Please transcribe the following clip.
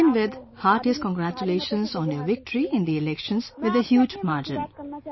To begin with, heartiest congratulations on your victory in the elections, with a huge margin